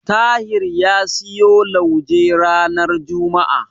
Tahir ya siyo lauje ranar juma'a.